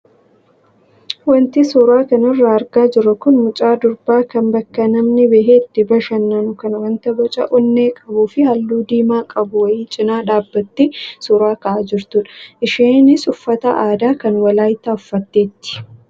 Wanti suuraa kanarraa argaa jirru kun mucaa dubaraa kan bakka namni bahee itti bashannanu kan wanta boca onnee qabuu fi halluu diimaa qabu wayii cinaa dhaabbattee suuraa ka'aa jirtudha. Isheenis uffata aadaa kan Walaayittaa uffatteetti.